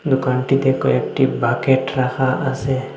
দোকানটিতে কয়েকটি বাকেট রাখা আসে।